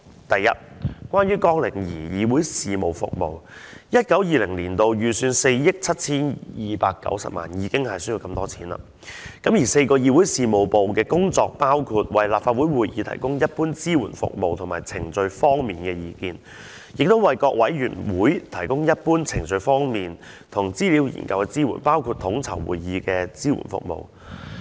首先，關於綱領2議會事務服務 ，2019-2020 年度的預算為4億 7,290 萬元，已經需要這麼多錢；而4個議會事務部的工作，包括為立法會會議提供一般支援服務及程序方面的意見，亦為各委員會提供一般、程序方面和資料研究的支援，包括統籌會議的支援服務。